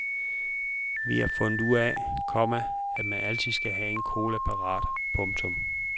Vi har fundet ud af, komma at man altid skal have en cola parat. punktum